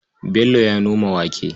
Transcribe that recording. Bello ya noma wake.